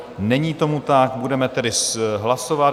Není tomu tak, budeme tedy hlasovat.